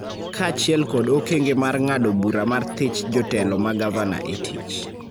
kaachiel kod okenge mar ng�ado bura mar thich jotelo ma gavana e tich.